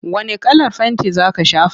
Wane kalar fenti za ka shafa?